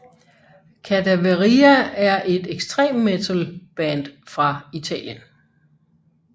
Cadaveria er et ekstremmetal band fra Italien